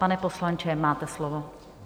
Pane poslanče, máte slovo.